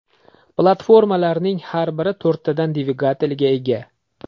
Platformalarning har biri to‘rttadan dvigatelga ega.